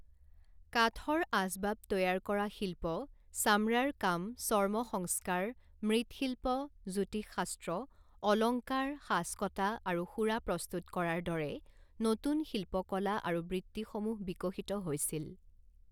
কাঠৰ আচবাব তৈয়াৰ কৰা শিল্প, চামৰাৰ কাম, চৰ্মসংস্কাৰ, মৃৎশিল্প, জ্যোতিষশাস্ত্ৰ, অলংকাৰ, সাঁচ কটা আৰু সুৰা প্ৰস্তুত কৰাৰ দৰে নতুন শিল্পকলা আৰু বৃত্তিসমূহ বিকশিত হৈছিল।